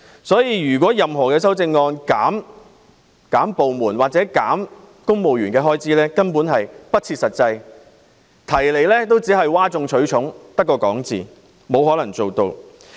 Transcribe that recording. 所以，如果修正案要求削減個別部門或公務員的開支，是不切實際的，只是譁眾取寵，只尚空談，根本沒有可能做到。